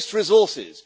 It wastes resources